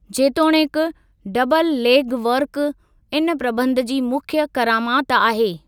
जेतोणीकि, double leg work इन प्रबंध जी मुख्यु करामत आहे।